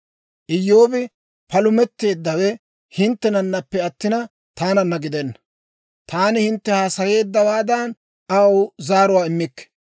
Iyyoobi palumetteeddawe hinttenanappe attina, taananna gidenna. Taani hintte haasayeeddawaadan aw zaaruwaa immikke.